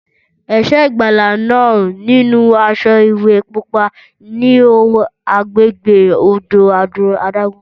Ẹ̀ṣọ́ ìgbàlà náà, nínú aṣọ ìwẹ̀ pupa, ń wo agbègbè odò adágún.